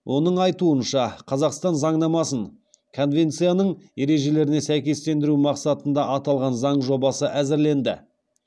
оның айтуынша қазақстан заңнамасын конвенцияның ережелеріне сәйкестендеру мақсатында аталған заң жобасы әзірленді